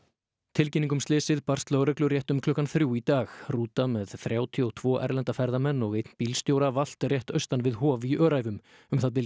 tilkynning um slysið barst lögreglu rétt um klukkan þrjú í dag rúta með þrjátíu og tvo erlenda ferðamenn og einn bílstjóra valt rétt austan við Hof í Öræfum um það bil